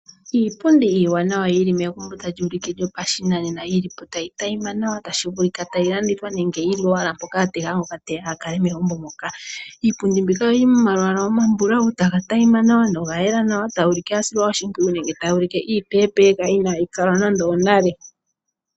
Iipundi iiwanawa yi li megumbo tali ulike lyopashinanena, yi li po tayi tayima nawa. Otashi vulika tayi landithwa nenge ya tega ngoka teya a kale megumbo moka. Iipundi mbika oyili momalwaala omambulawu taga tayima nawa noya yela nawa. Iipundi mbika tayi ulike iipeepeeka, tayi ulike ya silwa oshimpwiyu inaayi longithwa nande onale.